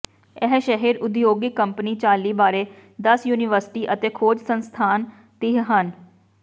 ਇਹ ਸ਼ਹਿਰ ਉਦਯੋਗਿਕ ਕੰਪਨੀ ਚਾਲੀ ਬਾਰੇ ਦਸ ਯੂਨੀਵਰਸਿਟੀ ਅਤੇ ਖੋਜ ਸੰਸਥਾਨ ਤੀਹ ਹਨ